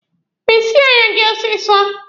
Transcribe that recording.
Mesie anya gị ọsịsọ!